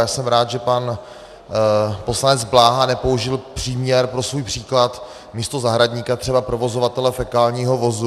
Já jsem rád, že pan poslanec Bláha nepoužil příměr pro svůj příklad místo zahradníka třeba provozovatele fekálního vozu.